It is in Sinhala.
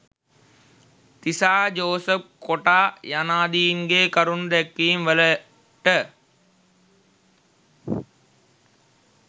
තිසා ජෝසප් කොටා යනාදීන්ගේ කරුණු දැක්වීම් වලට